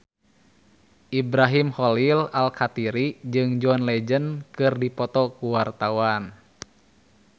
Ibrahim Khalil Alkatiri jeung John Legend keur dipoto ku wartawan